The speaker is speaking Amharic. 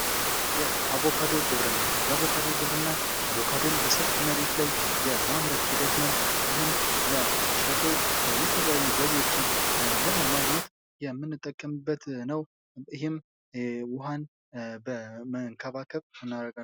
የአቮካዶ ግብርና የአቮካዶ ግብርና አቮካዶን በሰፊ መሬት ላይ የማምረት ሂደት ነው። ይህም ለሻጩ የተለያዩ ገቢዎችን ለማግኘት የምንጠቀምበት ነው። ይህም ውሃን በመንከባከብ ።